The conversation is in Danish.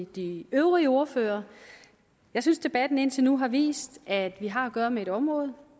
de øvrige ordførere jeg synes debatten indtil nu har vist at vi har at gøre med et område